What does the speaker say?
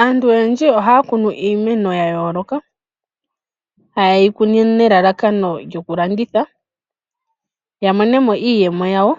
Aantu oyendji oha ya kunu iimeno ya yooloka, ha yeyi kunu nelalakano lyokulanditha. Ya monemo iiyemo yawo.